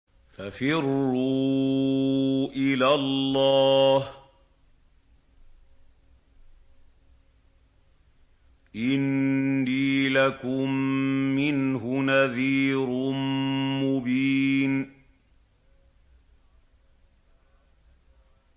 فَفِرُّوا إِلَى اللَّهِ ۖ إِنِّي لَكُم مِّنْهُ نَذِيرٌ مُّبِينٌ